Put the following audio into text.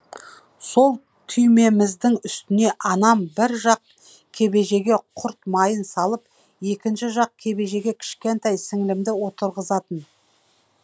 сол түйеміздің үстіне анам бір жақ кебежеге құрт майын салып екінші жақ кебежеге кішкентай сіңлімді отырғызатын